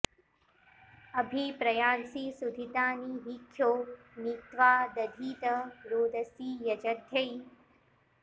अ॒भि प्रयां॑सि॒ सुधि॑तानि॒ हि ख्यो नि त्वा॑ दधीत॒ रोद॑सी॒ यज॑ध्यै